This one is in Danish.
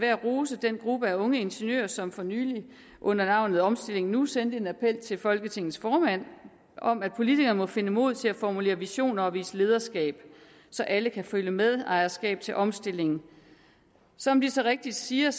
at rose den gruppe af unge ingeniører som for nylig under navnet omstilling nu sendte en appel til folketingets formand om at politikere må finde mod til at formulere visioner og vise lederskab så alle kan føle medejerskab til omstillingen som de så rigtigt siger